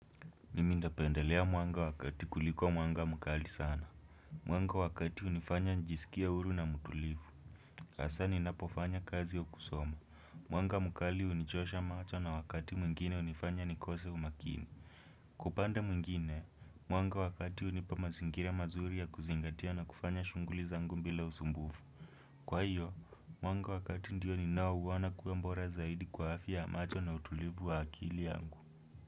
Mimi ndapendelea mwanga wa kati kuliko mwanga mkali sana. Mwanga wa kati unifanya njisikie uru na mutulivu. Asa ninapofanya kazi au kusoma. Mwanga mukali unichosha macho na wakati mwingine unifanya nikose umakini. Kwa upande mwingine, mwanga wa kati unipa mazingira mazuri ya kuzingatia na kufanya shunguli zangu mbila usumbufu. Kwa hiyo, mwanga wa kati ndiyo ninaouona kue mbora zaidi kwa hafya ya macho na utulivu wa akili yangu.